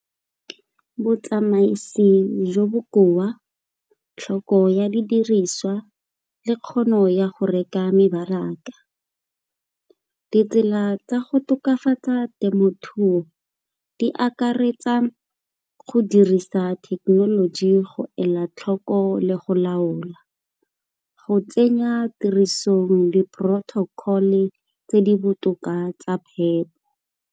Botsamaisi jo bo bokoa, tlhoko ya didiriswa le kgono ya go reka mebaraka. Ditsela tsa go tokafatsa temothuo di akaretsa go dirisa thekenoloji go ela tlhoko le go laola. Go tsenya tirisong le protocol-e tse di botoka tsa phepo.